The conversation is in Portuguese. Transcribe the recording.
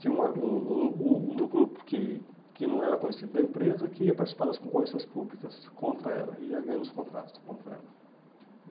tinha uma um um um do grupo que que não era conhecido da empresa que ia participar das concorrências públicas contra ela, ia ganhando os contratos contra ela.